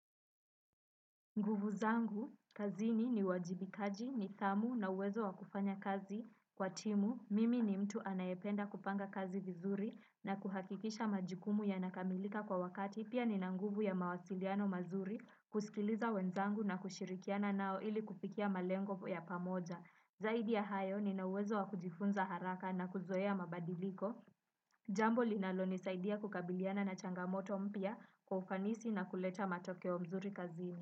Nguvu zangu, kazini ni uwajibikaji, nithamu na uwezo wakufanya kazi kwa timu. Mimi ni mtu anayependa kupanga kazi vizuri na kuhakikisha majukumu yanakamilika kwa wakati. Pia ninanguvu ya mawasiliano mazuri kusikiliza wenzangu na kushirikiana nao ili kufikia malengo ya pamoja. Zaidi ya hayo nina uwezo wa kujifunza haraka na kuzoea mabadiliko. Jambo linalo nisaidia kukabiliana na changamoto mpya kwa ufanisi na kuleta matokeo mzuri kazini.